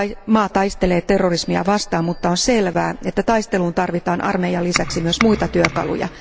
Maa taistelee terrorismia vastaan, mutta on selvää että taisteluun tarvitaan armeijan lisäksi myös muita työkaluja.